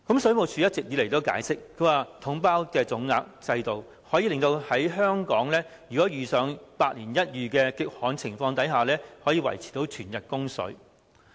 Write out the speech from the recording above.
水務署一直以來的解釋是，"統包總額"制度可以令香港在遇上百年一遇的極旱情況下，仍然能夠維持全日供水。